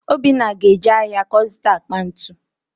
Obinna ga-eje ahịa ka ọ zụta akpa ntu